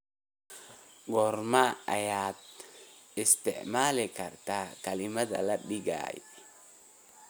goorma ayaad isticmaali kartaa kelmadda la dhigay